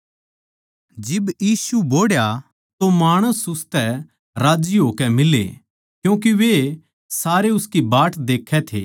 जिब यीशु बोहड़या तो माणस उसतै राज्जी होकै फेट्टे क्यूँके वे सारे उसकी बाट देक्खै थे